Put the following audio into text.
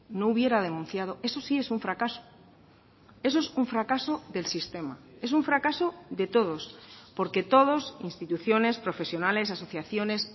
no hubiera denunciado eso sí es un fracaso eso es un fracaso del sistema es un fracaso de todos porque todos instituciones profesionales asociaciones